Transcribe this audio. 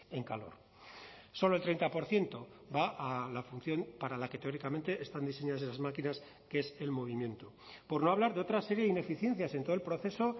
en calor solo el treinta por ciento va a la función para la que teóricamente están diseñadas esas máquinas que es el movimiento por no hablar de otra serie de ineficiencias en todo el proceso